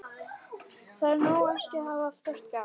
Það er ekki nóg að hafa bara stórt gat